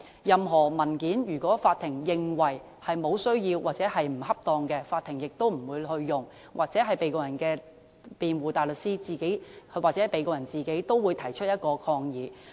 任何文件，如果法庭認為沒有需要或不恰當，法庭亦不會使用，而被告人的辯護大律師或被告人自己也會提出抗議。